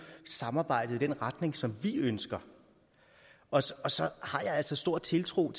samarbejdet i den retning som vi ønsker og og så har jeg altså stor tiltro